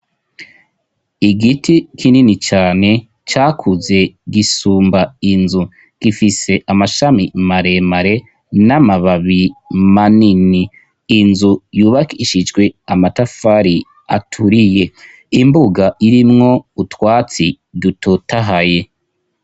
Igiti kinini cane cakuze gisumba inzu gifise amashami mare mare n'amababi manini inzu yubakishijwe amatafari aturiye imbuga irimwo utwatsi dutotahaye.